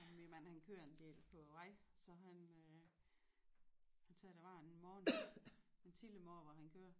Min mand han kører en del på vej så han han sagde at der var en morgen en tidlig morgen hvor han kører